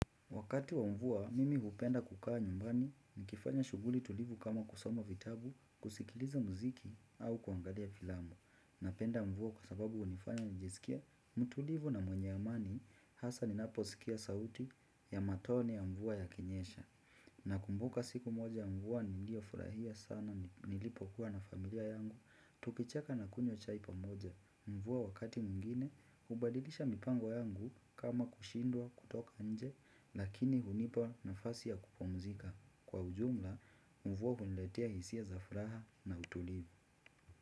Wakati wa mvua, mimi hupenda kukaa nyumbani, nikifanya shuguli tulivu kama kusoma vitabu, kusikiliza mziki au kuangadia filamu. Napenda mvua kwa sababu unifanya nijisikie, mtulivu na mwenye amani, hasa ninapo sikia sauti ya matone ya mvua yakinyesha. Nakumbuka siku moja ya mvua, nilio furahia sana, nilipo kuwa na familia yangu, tukicheka na kunyo chai pamoja. Mvuwa wakati muingine, ubadilisha mipango yangu kama kushindwa kutoka anje, lakini hunipa na fasi ya kupumzika. Kwa ujumla, mvuwa huletea hisia za fraha na utulivu.